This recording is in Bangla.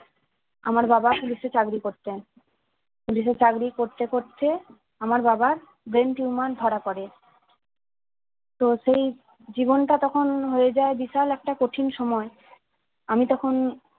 আমার বাবা police এ চাকরি করতেন police এ চাকরি করতে করতে আমার বাবার brain tumor ধরা পরে তো সেই জীবনটা তখন হয়ে যায় বিশাল একটা কঠিন সময় আমি তখন